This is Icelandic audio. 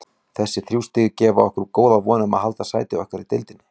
Þessi þrjú stig gefa okkur góða von um að halda sæti okkar í deildinni.